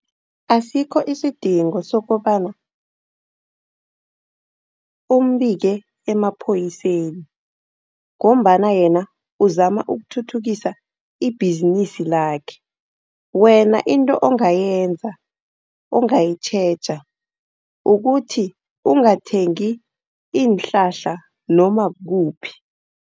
Asikho isidingo sokobana umbike emapholiseni, ngombana yena uzama ukuthuthukisa ibhizinisi lakhe. Wena into ongayenza, nongayitjheja kukuthi ungathengi iinhlahla noma kukuphi.